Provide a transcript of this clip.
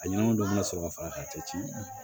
A ɲɛnɛma dɔ bi na sɔrɔ ka fara ka cɛ ci